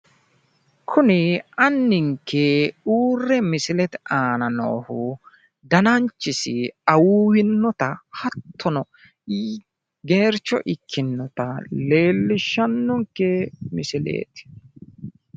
Kuni anninke uurre misilete aana noohu dananchisi awuuwinnota hattono geercho ikkinnota leellishshannonke misileeti.